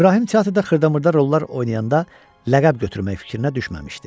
İbrahim teatrda xırda-mırda rollar oynayanda ləqəb götürmək fikrinə düşməmişdi.